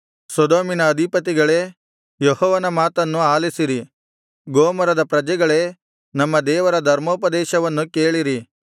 ಸೊದೋಮಿನ ಅಧಿಪತಿಗಳೇ ಯೆಹೋವನ ಮಾತನ್ನು ಆಲಿಸಿರಿ ಗೊಮೋರದ ಪ್ರಜೆಗಳೇ ನಮ್ಮ ದೇವರ ಧರ್ಮೋಪದೇಶವನ್ನು ಕೇಳಿರಿ